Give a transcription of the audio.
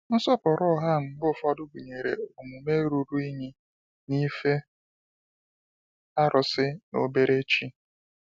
Nsọpụrụ ụgha mgbe ụfọdụ gụnyere omume ruru unyi na ife arụsị na obere chi.